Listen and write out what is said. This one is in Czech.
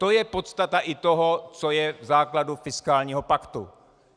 To je podstata i toho, co je v základu fiskálního paktu.